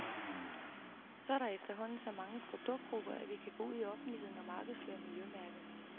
Så er der efterhånden så mange produktgrupper, at vi kan gå ud i offentligheden og markedsføre miljømærket.